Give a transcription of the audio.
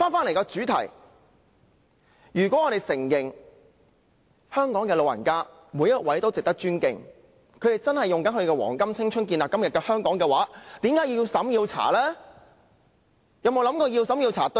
回到主題，如果我們承認香港的每一位長者都值得尊敬，他們真的以自己的黃金青春建立今時今日的香港，為甚麼政府要對他們進行資產審查呢？